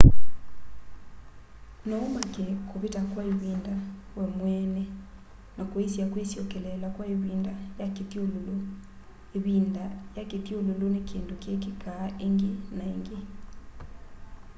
no umake kuvita kwa ivinda we mweene na kuisya kwisyokeleela kwa ivinda ya kithyululu ivinda ua kithyululu ni kindu kikikaa ingi na ingi